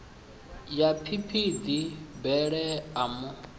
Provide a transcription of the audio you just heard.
ya phiphiḓi bele a mu